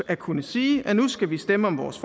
at kunne sige at nu skal vi stemme om vores